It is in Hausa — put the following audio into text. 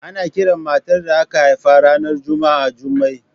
Ana kiran matar da aka haifa ranar Juma'a Jummai